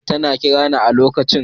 Janar ɗin bai kira ni ba tun wannan lokacin